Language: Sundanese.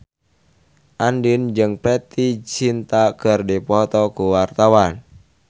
Andien jeung Preity Zinta keur dipoto ku wartawan